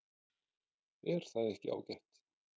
Er það ekki ágætt?